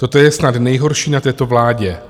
Toto je snad nejhorší na této vládě.